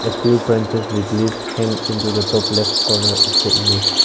a few branches with leaves hill into the top left corner of the image.